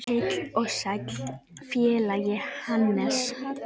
Heill og sæll félagi Hannes!